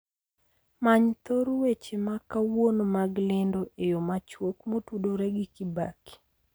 Many thor weche ma kawuono mag lendo eyo machuok motudore gi kibaki